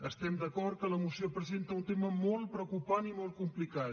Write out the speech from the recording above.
estem d’acord que la moció presenta un tema molt preocupant i molt complicat